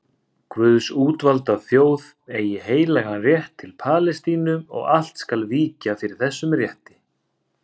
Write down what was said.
Guðs útvalda þjóð eigi heilagan rétt til Palestínu og allt skal víkja fyrir þessum rétti.